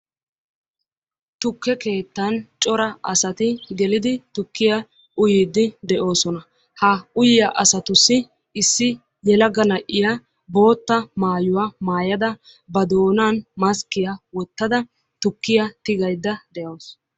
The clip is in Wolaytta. Tukke keettan cora asati gelidi tukkiya uyiiddi de"oosona. Ha uyiya asatussi issi yelaga na"iya bootta maayuya maayada ba doonan maskkiya wottada tukkiya tigaydda de"awusu.